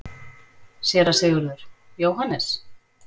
SÉRA SIGURÐUR: Jóhannes?